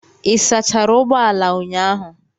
Ị sachara ụgbọ ala ụnyahụ?